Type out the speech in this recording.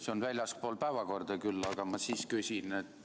See on väljaspool päevakorda küll, aga ma siiski küsin.